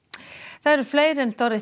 það eru fleiri en